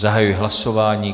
Zahajuji hlasování.